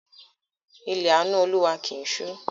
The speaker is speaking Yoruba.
Ilẹ̀ àánú Olúwa kì í ṣú